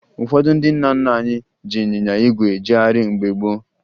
Ụfọdụ ndị nna nna anyị ji ịnyịnya ígwè ejegharị mgbe gboo